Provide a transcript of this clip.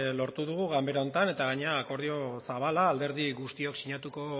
lortu dugu ganbara honetan eta gainera akordio zabala alderdi guztiok sinatuko